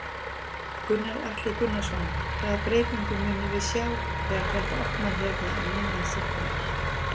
Gunnar Atli Gunnarsson: Hvaða breytingu munum við sjá þegar þetta opnar hérna um miðjan september?